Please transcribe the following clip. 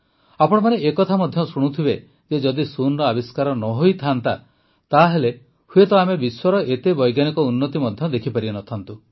ଆପଣମାନେ ଏକଥା ମଧ୍ୟ ଶୁଣୁଥିବେ ଯେ ଯଦି ଶୂନର ଆବିଷ୍କାର ନ ହୋଇଥାନ୍ତା ତାହେଲେ ହୁଏତ ଆମେ ବିଶ୍ୱର ଏତେ ବୈଜ୍ଞାନିକ ଉନ୍ନତି ମଧ୍ୟ ଦେଖିପାରିନଥାନ୍ତୁ